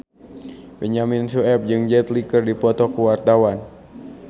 Benyamin Sueb jeung Jet Li keur dipoto ku wartawan